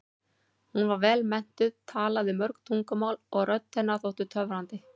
Hún var vel menntuð, talaði mörg tungumál og rödd hennar þótti töfrandi.